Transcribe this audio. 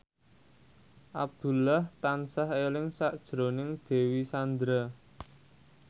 Abdullah tansah eling sakjroning Dewi Sandra